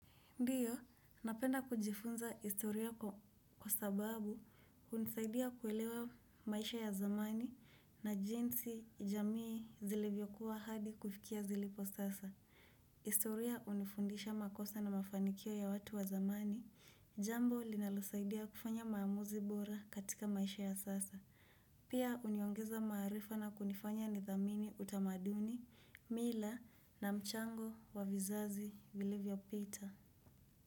Ndiyo, napenda kujifunza historia kwa sababu hunisaidia kuelewa maisha ya zamani na jinsi jamii zilevyokuwa hadi kufikia zilipo sasa. Historia hunifundisha makosa na mafanikio ya watu wa zamani, jambo linalosaidia kufanya maamuzi bora katika maisha ya sasa. Pia huniongeza maarifa na kunifanya nidhamini utamaduni, mila na mchango wa vizazi, vilivyo pita.